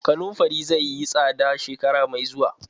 Kanunfari zai yi tsada shekara mai zuwa.